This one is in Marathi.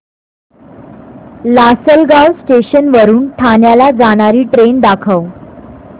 लासलगाव स्टेशन वरून ठाण्याला जाणारी ट्रेन दाखव